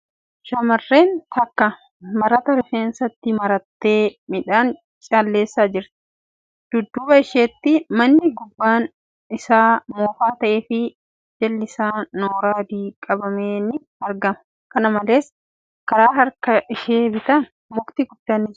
Shamarreen takka marata rifeensatti marattee midhaan calleessaa jirti. Dudduuba isheetti manni gubbaan isaa moofaa ta'ee fi jalli isaa nooraa adii dibame ni argama. Kana malees, karaa harka ishee bitaan mukti guddaa ni jira.